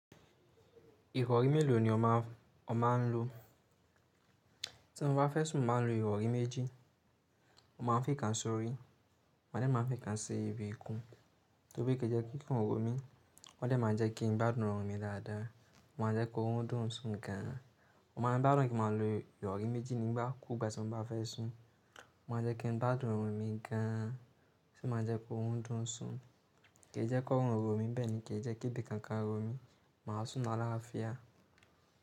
Ìrọ̀rí mélòó ni o ma n lọ? Tí mọ bá fẹ́ sùn, máa ń lo ìrọ̀rí méjì. Wọ́n máa ń fi kan sórí, ma máa ń fi kan sí ibi ikún. Torí kì í jẹ́ kí ikun rọ̀ mí, wọ́n díẹ̀ máa ń jẹ́ kí n bá dùn rọ̀ mí dáadáa. O máa n jẹ́ ki orun dùn sùn gan an. Mọ náà bá dùn kí máa lo ìrọ̀rí méjì nígbà kúù gbà tí ọmọ bá fẹ́ sùn. Wọn máa jẹ́ kí n bá dùn rọ̀ mí gan an, sì máa jẹ́ ki orun dùn sùn. Ke í jẹ́ kó rọ̀ mí bẹ́ẹ̀ ni kì í jẹ́ kí ibi kan ka rọ̀ mí. Màá sùn lárkafiyá.